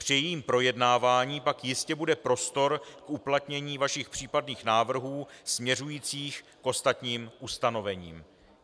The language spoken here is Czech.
Při jejím projednávání pak jistě bude prostor k uplatnění vašich případných návrhů směřujících k ostatním ustanovením.